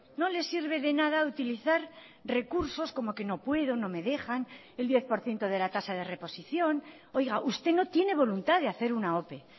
no le sirve de nada utilizar recursos como que no puedo no me dejan el diez por ciento de la tasa de reposición oiga usted no tiene voluntad de hacer una ope